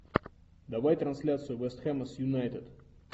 давай трансляцию вест хэма с юнайтед